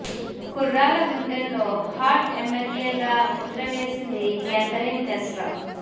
కుర్రాళ్ళ గుండెల్లో hot MLA గా ముద్ర వేసింది కేథరిన్ తెస్రా